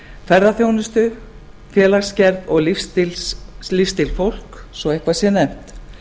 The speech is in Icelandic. ferðaþjónustu félagsgerð og lífsstíl fólks svo eitthvað sé nefnt